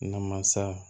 Namasa